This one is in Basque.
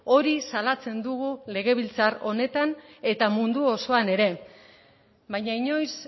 hori salatzen dugu legebiltzar honetan eta mundu osoan ere baina inoiz